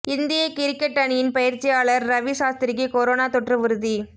இந்திய கிரிக்கெட் அணியின் பயிற்சியாளர் ரவி சாஸ்திரிக்கு கொரோனா தொற்று உறுதி